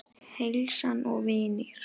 Heilsan og vinir.